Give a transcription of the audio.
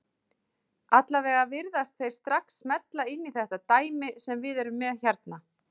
Allavega virðast þeir strax smella inn í þetta dæmi sem við erum með hérna.